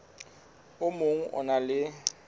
o mong o na le